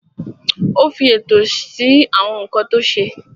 Ó fi ètò sí àwọn nǹkan tó ṣe.